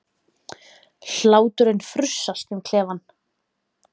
Hláturinn frussast um klefann.